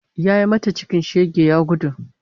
Yayi mata cikin shege ya gudu